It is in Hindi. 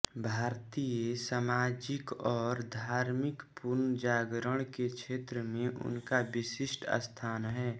भारतीय सामाजिक और धार्मिक पुनर्जागरण के क्षेत्र में उनका विशिष्ट स्थान है